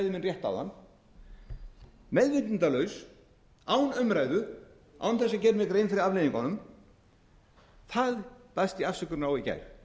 rétt áðan meðvitundarlaus án umræðu án þess að gera mér grein fyrir afleiðingunum á því baðst ég afsökunar í gær